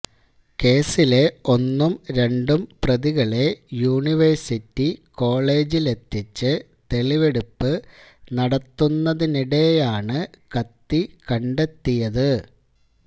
കേസിലെ ഒന്നും രണ്ടും പ്രതികളെ യൂണിവേഴ്സിറ്റി കോളജിലെത്തിച്ച് തെളിവെടുപ്പ് നടത്തുന്നതിനിടെയാണ് കത്തി കണ്ടെത്തിയത്